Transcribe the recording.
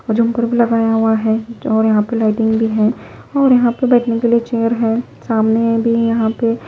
लगाया हुआ है और यहां पे लाइटिंग भी है और यहां पे बैठने के लिए चेयर है सामने भी यहां पे--